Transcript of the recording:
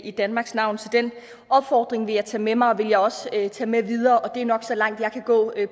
i danmarks navn så den opfordring vil jeg tage med mig og jeg vil også tage den med videre og det er nok så langt jeg kan gå